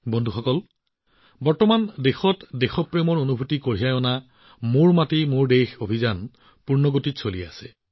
বন্ধুসকল বৰ্তমান সময়ত দেশত দেশপ্ৰেমৰ মনোভাৱ মেৰী মাটি মেৰা দেশক উজ্জ্বল কৰি তোলাৰ অভিযান পূৰ্ণগতিত চলি আছে